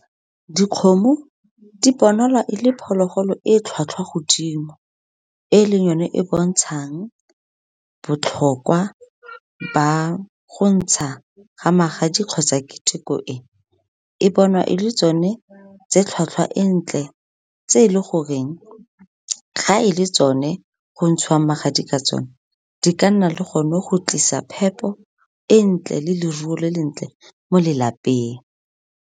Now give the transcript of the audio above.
Dikgomo di bonala e le phologolo e tlhwatlhwa godimo, e leng yone e e bontshang botlhokwa ba go ntsha ga magadi kgotsa keteko e. E bonwa e le tsone tse tlhwatlhwa e ntle, tse e leng goreng ga e le tsone go ntshiwang magadi ka tsone, di ka nna le gone go tlisa phepo e ntle, le leruo le le ntle mo lelapeng.